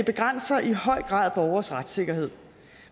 begrænser i høj grad borgeres retssikkerhed